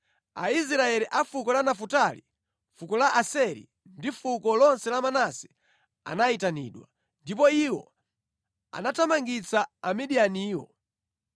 Aisraeli a fuko la Nafutali, fuko la Aseri, ndi fuko lonse la Manase anayitanidwa, ndipo iwo anathamangitsa Amidiyaniwo.